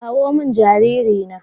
kawo min jariri na